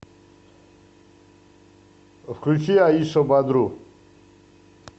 включи аиша бадру